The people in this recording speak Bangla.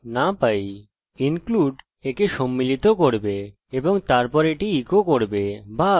include একে সম্মিলিত করবে এবং তারপর এটি ইকো করবে বা বাকি পৃষ্ঠা রান করবে